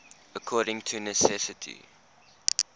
according to necessity